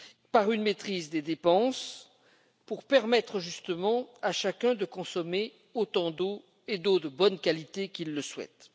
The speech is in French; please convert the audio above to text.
par une maîtrise des dépenses, pour permettre en effet à chacun de consommer autant d'eau, et d'eau de bonne qualité, qu'il le souhaite.